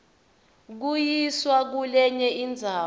kuyiswa kulenye indzawo